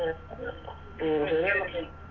ഉം ശരി എന്ന പിന്നെ